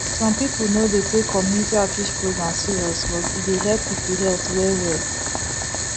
some people no dey take community outreach program serious but e dey help people health well well